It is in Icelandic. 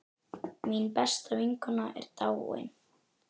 Mín besta vinkona er dáin.